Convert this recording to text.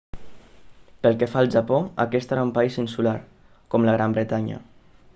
pel que fa al japó aquest era un país insular com la gran bretanya